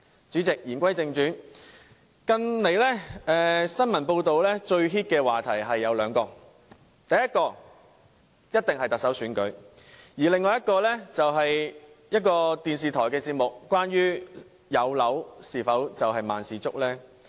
主席，言歸正傳，近來最熱門的時事話題有兩件事，第一當然是特首選舉，另外就是某電視台一個有關有樓是否萬事足的節目。